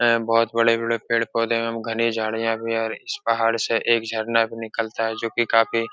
हैं। बहुत बड़े बड़े पेड़ पौधे एवं घने झाड़ियाँ भी हैं और इस पहाड़ से एक झरना भी निकलता है जो कि काफी --